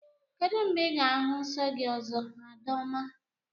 Kedụ mgbe Ị ga-ahụ nsọ gị ọzọ, Adaoma?